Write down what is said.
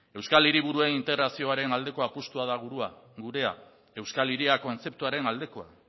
euskal hiriburuen integrazioaren aldeko apustua da gurea euskal hiria kontzeptuaren aldekoa